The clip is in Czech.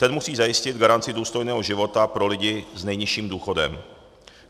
Ten musí zajistit garanci důstojného života pro lidi s nejnižším důchodem.